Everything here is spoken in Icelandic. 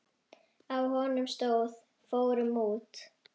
Á honum stóð: Fórum út!